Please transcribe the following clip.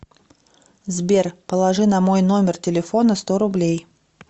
сбер положи на мой номер телефона сто рублей